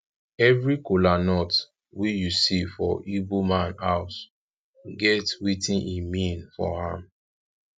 evri kolanut wey yu see for igboman house get wetin e mean for am